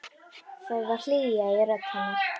Það var hlýja í rödd hennar.